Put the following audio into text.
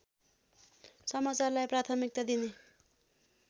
समाचारलाई प्राथमिकता दिने